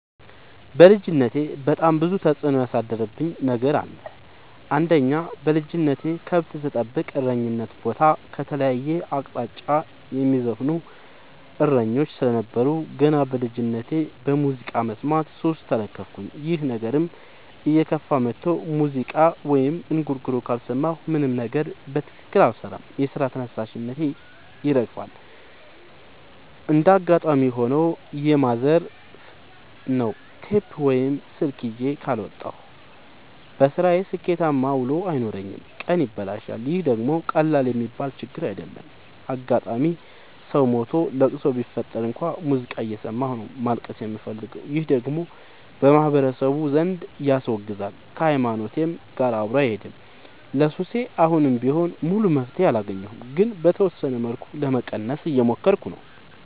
በልጅነቴ በጣም ብዙ ተጽዕኖ ያሳደረብኝ ነገር አለ። አንደኛ በልጅነቴ ከብት ስጠብቅ እረኝነት ቦታ ከተለያየ አቅጣጫ የሚዘፍኑ እሰኞች ስለነበሩ። ገና በልጅነቴ በሙዚቃ መስማት ሱስ ተለከፍኩኝ ይህ ነገርም እየከፋ መጥቶ ሙዚቃ ወይም እንጉርጉሮ ካልሰማሁ ምንም ነገር በትክክል አልሰራም የስራ ተነሳሽነቴ ይጠፋል። እንደጋጣሚ ሆኖ የማዘፍ ነው ቴፕ ወይም ስልክ ይዤ ካልወጣሁ። በስራዬ ስኬታማ ውሎ አይኖረኝም ቀኔ ይበላሻል ይህ ደግሞ ቀላል የሚባል ችግር አይደለም። አጋጣም ሰው ሞቶ ለቅሶ ቢፈጠር እንኳን ሙዚቃ እየሰማሁ ነው ማልቀስ የምፈልገው ይህ ደግሞ በማህበረሰቡ ዘንድ ያስወግዛል። ከሀይማኖቴም ጋር አብሮ አይሄድም። ለሱሴ አሁንም ቢሆን ሙሉ መፍትሔ አላገኘሁም ግን በተወሰነ መልኩ ለመቀነስ እየሞከርኩ ነው።